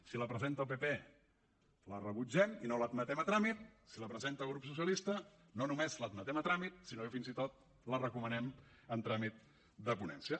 si la presenta el pp la rebutgem i no l’admetem a tràmit si la presenta el grup socialista no només l’admetem a tràmit sinó que fins i tot la recomanem en tràmit de ponència